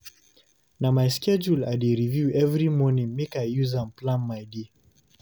Na my schedule I dey review every morning make I use am plan my day.